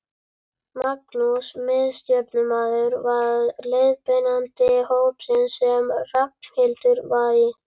Magnús miðstjórnarmaður var leiðbeinandi hópsins sem Ragnhildur var í.